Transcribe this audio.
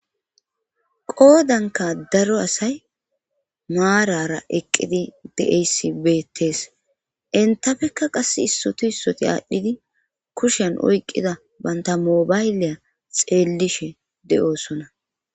Qoodanka daro asay maarara eqqidi de7eysi beettees intafekka qass issotu issoti aadhdhidi kushen oykqida bantamoobayliya xeellishe de7oosona.